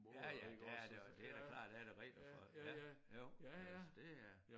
Ja ja der er det da klart da der er da regler for ja jo øh så det er